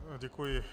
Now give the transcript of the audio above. Děkuji.